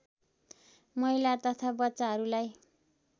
महिला तथा बच्चाहरूलाई